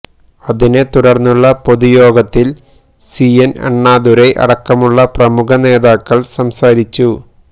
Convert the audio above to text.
അതിനെ തുടർന്നുള്ള പൊതുയോഗത്തിൽ സി എൻ അണ്ണാദുരൈ അടക്കമുള്ള പ്രമുഖ നേതാക്കൾ സംസാരിച്ചു